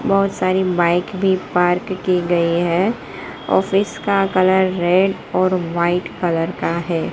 बहोत सारी बाइक भी पार्क की गई है इसका कलर रेड और वाइट कलर का है।